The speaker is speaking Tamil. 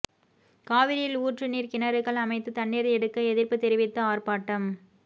காவிரியில் ஊற்று நீா் கிணறுகள் அமைத்து தண்ணீா் எடுக்க எதிா்ப்பு தெரிவித்து ஆா்ப்பாட்டம்